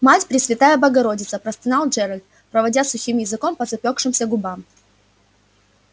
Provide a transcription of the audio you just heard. мать пресвятая богородица простонал джералд проводя сухим языком по запёкшимся губам